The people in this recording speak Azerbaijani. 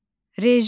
Rejim.